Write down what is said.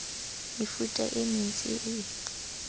mefuta e mentsi e e